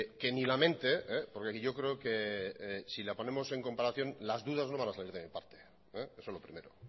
que ni la mente porque yo creo que si la ponemos en comparación las dudas no van a salir de mi parte eso lo primero